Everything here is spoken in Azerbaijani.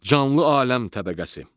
Canlı aləm təbəqəsi.